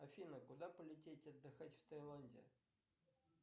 афина куда полететь отдыхать в таиланде